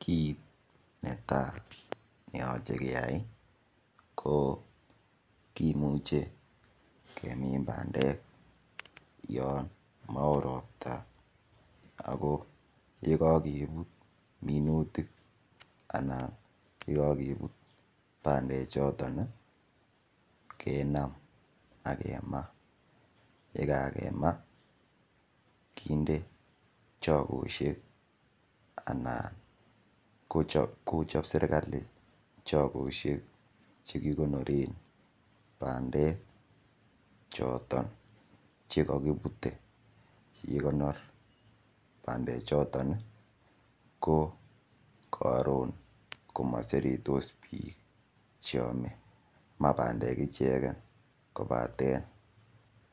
Kit netai ne yoche keyai ko kimuche kemin bandek en kasarta yon mowo ropta ago ye kogebut minutik anan ye kogebut bandechoton kenam ak kemaa, ya kagemaa kinde chogoshek anan kochop serkalit chogoseik che kikonoren bandek choton che kogibute. Ikonor choton ko koron komoseretosbiik cheome. Ma bandek ichegen kobaten